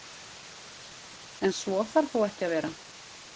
En svo þarf þó ekki að vera.